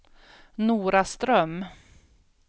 Noraström